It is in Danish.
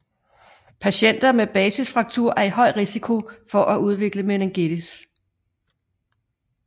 Patienter med basisfraktur er i høj risiko for at udvikle meningitis